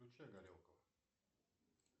включай горелку